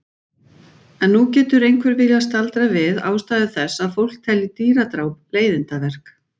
En nú getur einhver viljað staldra við ástæðu þess að fólk telji dýradráp leiðindaverk.